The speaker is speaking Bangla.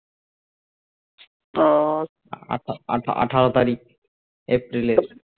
আহ আঠেরো তারিখ এপ্রিল এর